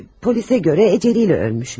Polisə görə əcəli ilə ölmüş.